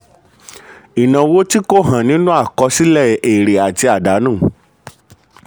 ìnáwó tí kò hàn nínú àkọsílẹ̀ èrè àti àdánù.